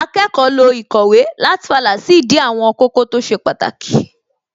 Akẹ́kọ̀ọ́ lo īkòwé láti fàlà sídìí àwọn kókó tó ṣe pàtàkì